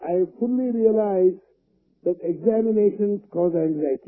I fully realize that the examinations cause anxiety